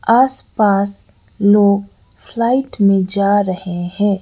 आसपास लोग फ्लाइट में जा रहे हैं।